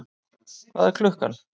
Hvað er klukkan?